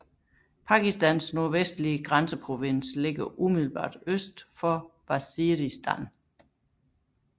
Pakistans Nordvestlige Grænseprovins ligger umiddelbart øst for Waziristan